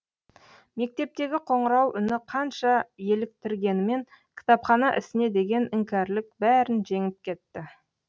мектептегі қоңырау үні қанша еліктіргенімен кітапхана ісіне деген іңкәрлік бәрін жеңіп кетті